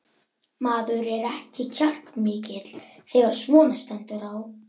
Maður er ekki kjarkmikill þegar svona stendur á.